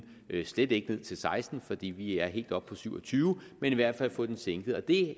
slet ikke ned til seksten fordi vi er helt oppe på syv og tyve men i hvert fald få den sænket og det